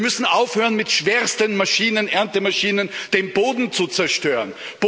Wir müssen aufhören, mit schwersten Erntemaschinen den Boden zu zerstören.